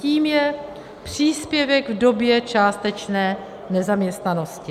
Tím je příspěvek v době částečné nezaměstnanosti.